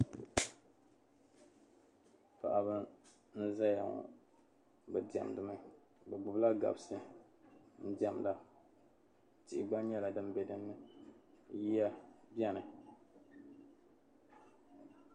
Paɣaba n-zaya ŋɔ be diɛmdi mi be gbubi la gabsi n-diɛmda tihi gba nyɛla din be dinni yiya beni.